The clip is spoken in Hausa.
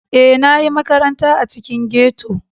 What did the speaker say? E, na ƴi maƙaranta a ciƙin ghetto.